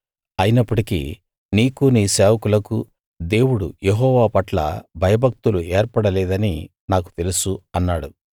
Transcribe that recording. అయినప్పటికీ నీకూ నీ సేవకులకూ దేవుడు యెహోవా పట్ల భయభక్తులు ఏర్పడలేదని నాకు తెలుసు అన్నాడు